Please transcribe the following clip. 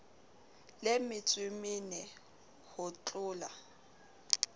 le metsoe mene ho thlola